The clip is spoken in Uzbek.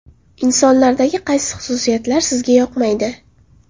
Insonlardagi qaysi xususiyatlar sizga yoqmaydi?